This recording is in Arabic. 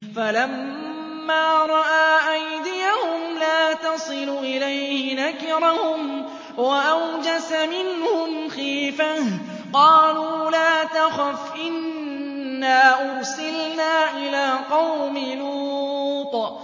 فَلَمَّا رَأَىٰ أَيْدِيَهُمْ لَا تَصِلُ إِلَيْهِ نَكِرَهُمْ وَأَوْجَسَ مِنْهُمْ خِيفَةً ۚ قَالُوا لَا تَخَفْ إِنَّا أُرْسِلْنَا إِلَىٰ قَوْمِ لُوطٍ